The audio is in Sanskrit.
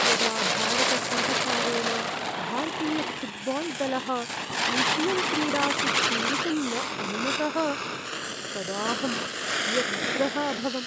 यदा भारतसर्वकारेण भारतीयफ़ुट्बाल्दलः एशियन्क्रीडासु क्रीडितुं न अनुमतः तदाहं व्यग्रः अभवम्।